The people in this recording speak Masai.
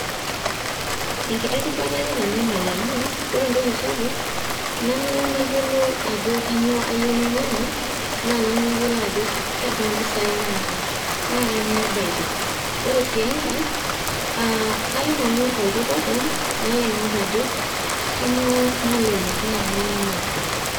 Enkiti rubata ake eitanyamal amu ore entoki sapuk nanu nayiolo ajo kainyioo ayieu nainyang`u naa nanu nayiolo ajo kebaa mpisai naata ,naa kainyioo ebaiki . ore sii enkae aa kalo nanu olduka openy nalo aingor ajo kainyioo nalelek naa kainyioo nagol .